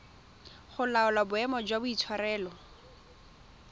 go laola boemo jwa boitshwaro